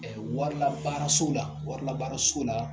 warilabaaraso la, warilabaaraso la